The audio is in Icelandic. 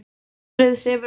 Slúðrið sefur aldrei.